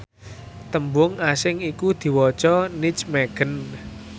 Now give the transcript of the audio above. tembung asing iku diwaca nijmegen